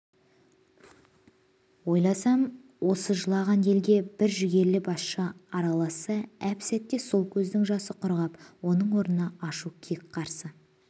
ойласам осы жылаған елге бір жігерлі басшы араласса әп-сәтте сол көздің жасы құрғап оның орнына ашу кек қарсы